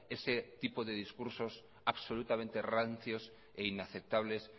ese tipo de discursos absolutamente rancios e inaceptables